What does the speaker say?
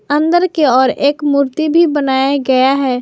अंदर के ओर एक मूर्ति भी बनाया गया है।